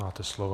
Máte slovo.